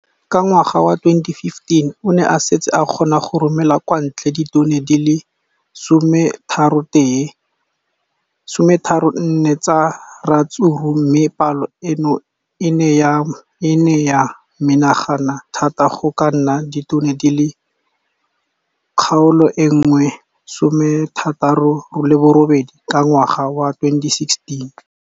Ka ngwaga wa 2015, o ne a setse a kgona go romela kwa ntle ditone di le 31 tsa ratsuru mme palo eno e ne ya menagana thata go ka nna ditone di le 168 ka ngwaga wa 2016.